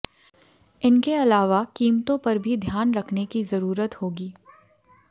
इनके अलावा कीमतों पर भी ध्यान रखने की जरूरत होगी